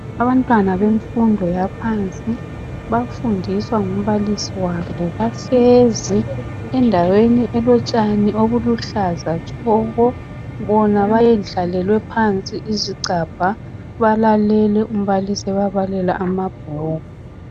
Abantwana bemfundo yaphansi bafundiswa ngumbalisi wabo bahlezi endaweni elotshani obuluhlaza tshoko bona bayendlalelwe phansi izigcabha balalele umbalisi ebabalela amabhuku